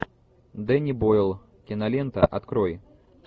дэнни бойл кинолента открой